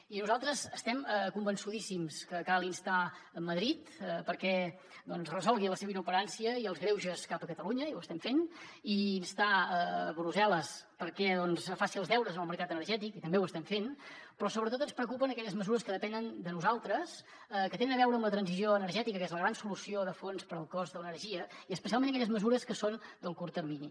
i nosaltres estem convençudíssims que cal instar madrid perquè doncs resolgui la seva inoperància i els greuges cap a catalunya i ho estem fent i instar brusselles perquè faci els deures en el mercat energètic i també ho estem fent però sobretot ens preocupen aquelles mesures que depenen de nosaltres que tenen a veure amb la transició energètica que és la gran solució de fons per al cost de l’energia i especialment aquelles mesures que són del curt termini